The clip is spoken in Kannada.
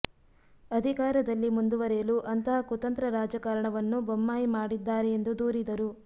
ಅಧಿಕಾರದಲ್ಲಿ ಮುಂದುವರೆಯಲು ಅಂತಹ ಕುತಂತ್ರ ರಾಜಕಾರಣವನ್ನು ಬೊಮ್ಮಾಯಿ ಮಾಡಿದ್ದಾರೆ ಎಂದು ದೂರಿದರು